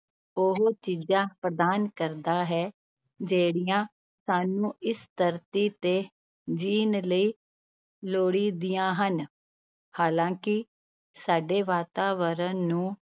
ਉਹ ਚੀਜ਼ਾਂ ਪ੍ਰਦਾਨ ਕਰਦਾ ਹੈ, ਜਿਹੜੀਆਂਂ ਸਾਨੂੰ ਇਸ ਧਰਤੀ ਤੇ ਜਿਉਣ ਲਈ ਲੋੜੀਦੀਆਂ ਹਨ ਹਾਲਾਂਕਿ ਸਾਡੇ ਵਾਤਾਵਰਨ ਨੂੰ